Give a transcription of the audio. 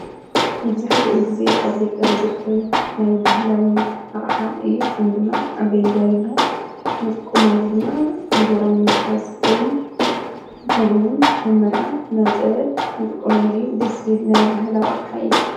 መብዛሕትኡ ጊዜ ኣብ ገጠር ዝርከብ ናይ በህላዊ ኣቕሓ እዩ፡፡ ሹሙ ድማ ኣገልጋይ ይባሃል፡፡ ንጥቀመሉ ድማ እንጀራ ንምትሓዝ ኮይኑ ከምኡ ውን ኣብ መርዓ ናብ ፀበል ንጥቆመሉ እዩ፡፡ ደስ ዝብል ናይ ባህላዊ ኣቕሓ እዩ፡፡